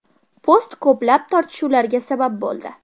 Post ko‘plab tortishuvlarga sabab bo‘ldi.